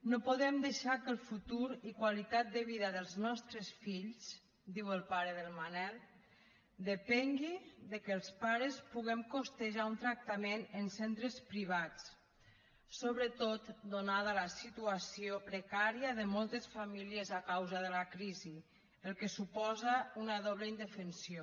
no podem deixar que el futur i qualitat de vida dels nostres fills diu el pare del manel depengui de que els pares puguem costejar un tractament en centres privats sobretot donada la situació precària de moltes famílies a causa de la crisi fet que suposa una doble indefensió